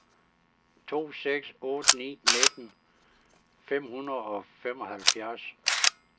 to seks otte ni nitten fem hundrede og femoghalvfjerds